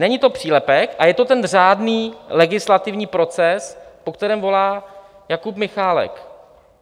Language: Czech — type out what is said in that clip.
Není to přílepek a je to ten řádný legislativní proces, po kterém volá Jakub Michálek.